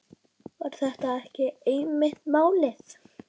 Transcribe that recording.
Var þetta ekki einmitt málið?